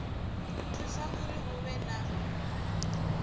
thusa uri hu vhe na